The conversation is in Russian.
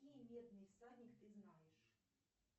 какие медный всадник ты знаешь